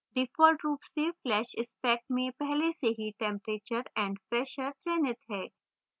default रूप से flash spec में पहले से ही temperature and pressure चयनित है